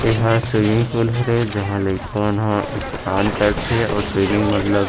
एहा एक swimming pool हरे जहाँ लइका मन ह स्नान करथे अऊ स्विमिंग मतलब--